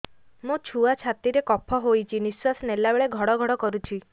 ମୋ ଛୁଆ ଛାତି ରେ କଫ ହୋଇଛି ନିଶ୍ୱାସ ନେଲା ବେଳେ ଘଡ ଘଡ କରୁଛି